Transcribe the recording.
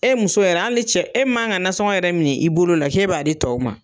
E muso yɛrɛ hali ni cɛ ,e man ka nansɔngo yɛrɛ min i bolo la k'e b'a di tɔw ma.